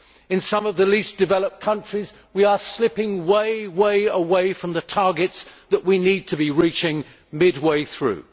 In some of the least developed countries we are slipping way, way away from the targets that we need to be reaching mid way through.